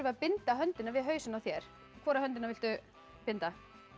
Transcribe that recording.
að binda höndina við hausinn á þér hvora höndina viltu binda